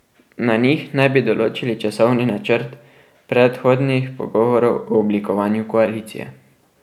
Na njih naj bi določili časovni načrt predhodnih pogovorov o oblikovanju koalicije.